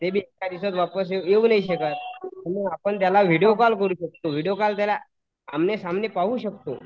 ते बी येऊ नाही शकत. पण आपण त्याला विडिओ कॉल करू शकतो व्हिडीओ कॉल त्याला आमने सामने पाहू शकतो.